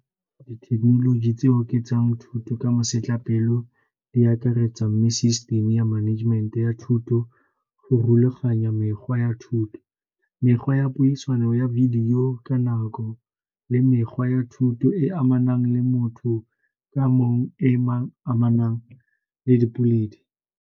Dithekenoloji tseo ketsa thuto ka masetlapelo di akaretsa new system-e ya management-e ya thuto go rulaganya mekgwa ya thuto, mekgwa ya puisano ya video ka nako le mekgwa ya thuto e e amanang le motho ka mongwe e amanang le .